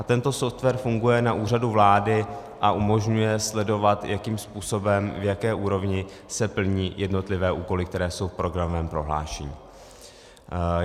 A tento software funguje na Úřadu vlády a umožňuje sledovat, jakým způsobem, v jaké úrovni se plní jednotlivé úkoly, které jsou v programovém prohlášení.